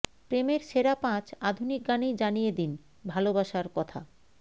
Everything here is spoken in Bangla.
প্রেমের সেরা পাঁচ আধুনিক গানেই জানিয়ে দিন ভালোবাসার কথা